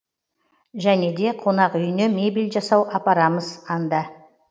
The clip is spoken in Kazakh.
және де қонақүйіне мебель жасау апарамыз анда